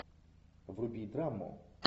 вруби драму